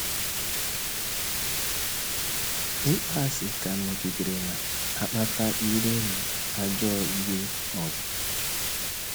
Ịkpọasị ka nọgidere na - akpata iro na ajọ ịlụ ọgụ.